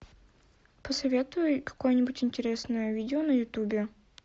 посоветуй какое нибудь интересное видео на ютубе